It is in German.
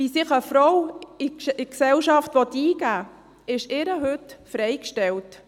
Wie sich eine Frau in die Gesellschaft einbringen will, ist ihr heute freigestellt.